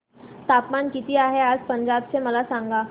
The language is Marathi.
तापमान किती आहे आज पंजाब चे मला सांगा